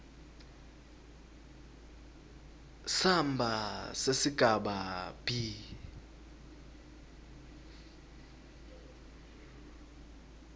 samba sesigaba b